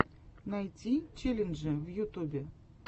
найти челленджи в ютубе